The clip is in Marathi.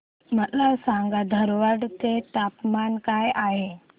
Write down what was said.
मला सांगा धारवाड चे तापमान काय आहे